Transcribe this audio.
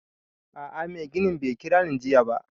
A'a mai ginin bai kira ni jiya ba